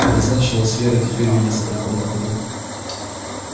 это значило с верой теперь видеться только на выходных